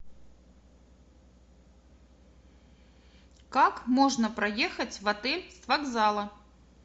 как можно проехать в отель с вокзала